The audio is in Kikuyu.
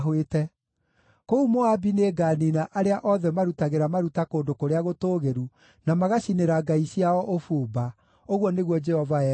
Kũu Moabi nĩnganiina arĩa othe marutagĩra maruta kũndũ kũrĩa gũtũũgĩru, na magacinĩra ngai ciao ũbumba,” ũguo nĩguo Jehova ekuuga.